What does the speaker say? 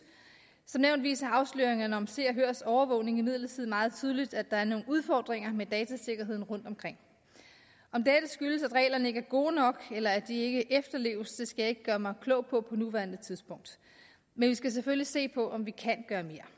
som nævnt viser afsløringerne om se og hørs overvågning imidlertid meget tydeligt at der er nogle udfordringer med datasikkerheden rundtomkring om dette skyldes at reglerne ikke er gode nok eller at de ikke efterleves skal jeg ikke gøre mig klog på på nuværende tidspunkt men vi skal selvfølgelig se på om vi kan gøre mere